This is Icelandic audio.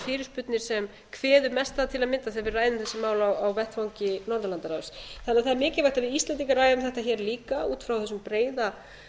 fyrirspurnir sem kveður mest að til að mynda þegar við ræðum þessi mál á vettvangi norðurlandaráðs þannig að það er mikilvægt að við íslendingar ræðum þetta hér líka út frá þessum breiða